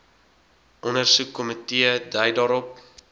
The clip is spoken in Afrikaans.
ondersoekkomitee dui daarop